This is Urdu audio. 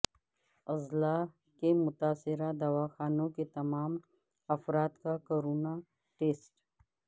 اضلاع کے متاثرہ دواخانوں کے تمام افراد کا کورونا ٹسٹ